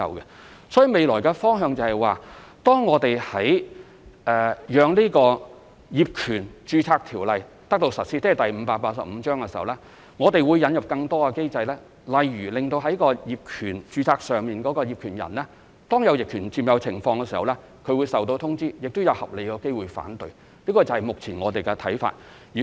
因此，未來的方向是，當業權註冊制度，即香港法例第585章實施後，我們會引入更多機制，當業權出現逆權管有時，註冊業權人會收到通知，亦會有合理的機會讓他提出反對，這是目前我們的看法。